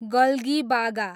गल्गिबागा